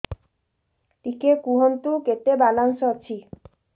ଟିକେ କୁହନ୍ତୁ କେତେ ବାଲାନ୍ସ ଅଛି